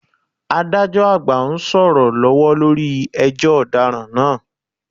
Adájọ́ àgbà ń sọ̀rọ̀ lọ́wọ́ lórí ẹjọ́ ọ̀daràn náà